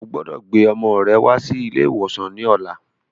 Ọgbọdọ̀ gbé ọmọ rẹ wá sí ilé ìwòsàn ní ọ̀la.